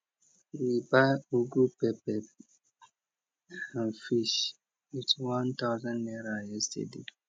we buy ugu pepper and fish with one thousand naira yesterday